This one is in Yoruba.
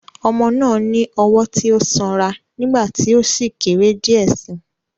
Ọmọ náà ní ọwọ́ tí ó sanra nígbà tí ó sì kéré díẹ̀ síi.